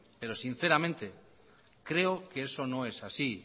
pero sinceramente creo que eso no es así